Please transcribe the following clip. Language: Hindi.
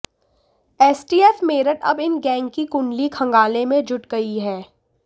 एसटीएफ मेरठ अब इन गैंग की कुंडली खंगालने में जुट गई है